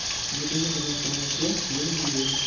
закажи пожалуйста молоко домик в деревне